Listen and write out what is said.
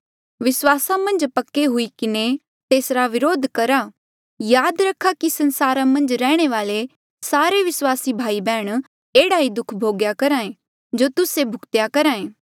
विस्वासा मन्झ पक्के हुई किन्हें तेसरा विरोध करहा याद रखा कि संसारा मन्झ रैहणे वाले सारे विस्वासी भाई बैहण एह्ड़ा ही दुःख भोगी करहे जो तुस्से भूग्तेया करहे